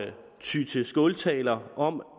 ty til skåltaler om